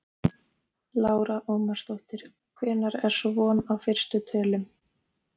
Lára Ómarsdóttir: Hvenær er svo von á fyrstu tölum?